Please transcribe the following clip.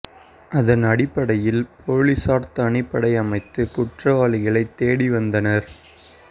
அதன் அடிப்படையில் போலீசார் தனிப்படை அமைத்து குற்றவாளிகளை தேடி வந்தனர்